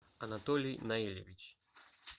анатолий наилевич